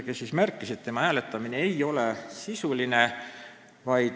Ta märkis, et tema hääletamine ei olnud sisuline.